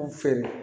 Anw fɛ